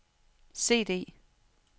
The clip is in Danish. CD